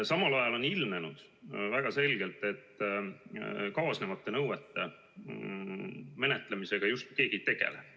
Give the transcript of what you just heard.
Samal ajal on ilmnenud väga selgelt, et kaasnevate nõuete menetlemisega justkui keegi ei tegele.